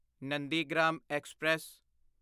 Nandigram express